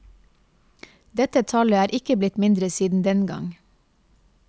Dette tallet er ikke blitt mindre siden den gang.